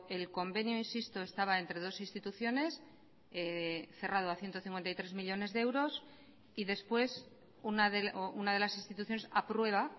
el convenio insisto estaba entre dos instituciones cerrado a ciento cincuenta y tres millónes de euros y después una de las instituciones aprueba